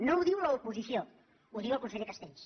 no ho diu l’oposició ho diu el conseller castells